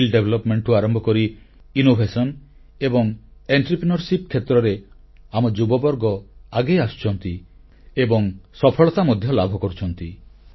ଦକ୍ଷତା ବିକାଶରୁ ଆରମ୍ଭ କରି ନବସୃଜନ ଏବଂ ଉଦ୍ୟୋଗୀତା କ୍ଷେତ୍ରରେ ଆମ ଯୁବବର୍ଗ ଆଗେଇ ଆସୁଛନ୍ତି ଏବଂ ସଫଳତା ମଧ୍ୟ ଲାଭ କରୁଛନ୍ତି